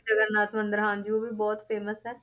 ਜਗਨ ਨਾਥ ਮੰਦਿਰ ਹਾਂਜੀ ਉਹ ਵੀ ਬਹੁਤ famous ਹੈ।